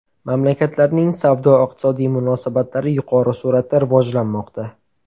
Mamlakatlarning savdo-iqtisodiy munosabatlari yuqori sur’atda rivojlanmoqda.